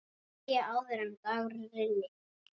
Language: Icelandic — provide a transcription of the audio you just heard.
Deyja, áður en dagur rynni.